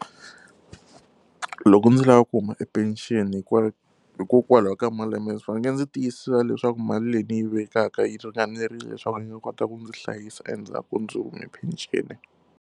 Loko ndzi lava ku huma e pension hikokwalaho ka malembe nge ndzi tiyisisa leswaku mali leyi ni yi vekaka yi ringanerile leswaku ndzi nga kota ku ndzi hlayisa endzhaku ndzi hume penceni.